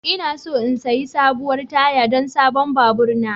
Ina so in sayi sabuwar taya don sabon babur na.